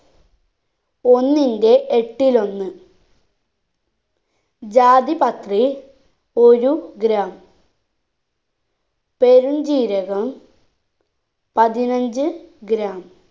ഒന്നിന്റെ എട്ടിലൊന്ന് ജാതിപത്രി ഒരു gram പെരും ജീരകം പതിനഞ്ച്‌ gram